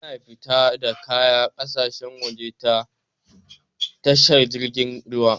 Ana fita da kaya ƙasashen waje ta Tashar jiragen ruwa.